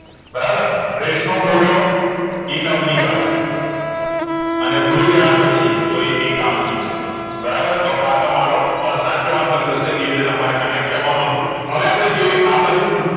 બરાબર રેસ નો ઘોડો એ નવલિકા છે અને ભૂલી ગયા પછી તો એ એકાંકી છે બારનાર તો આ તમારો સાચો answer ઇરીતે તમારે connect કરવા નું હતું હવે અપડે જોઈએ આબાજુ ઉપ